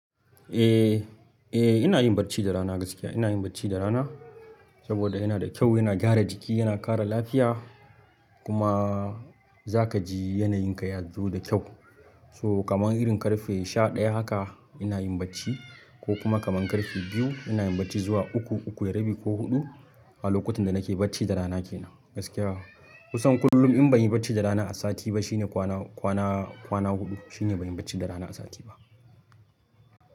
Eh, eh ina yin bacci da rana gaskiya. Ina yin bacci da rana saboda yana da kyau, yana gyara jiki, yana kara lafiya kuma za ka ji yanayin ka ya zo da kyau. To kamar irin ƙarfe sha ɗaya haka ina yin bacci ko kuma kaman karfe biyu ina yin bacci zuwa uku, uku da rabi ko huɗu a lokutan da nake bacci da rana ke nan gaskiya. Kusan kullum in banyi bacci da rana ba a sati ba shine kwana kwana kwana huɗu shine banyi bacci da rana a sati ba.